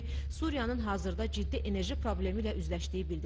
Suriyaın hazırda ciddi enerji problemi ilə üzləşdiyi bildirildi.